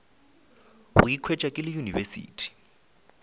go ikhwetša ke le university